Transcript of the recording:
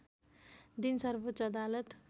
दिन सर्वोच्च अदालत